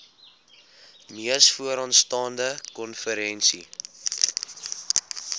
mees vooraanstaande konferensie